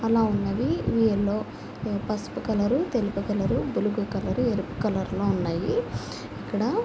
ఆలా ఉన్నదీ. ఇవి yellow paper colour blue colour ఎరుపు కలర్ లో ఉన్నాయి. అక్కడ--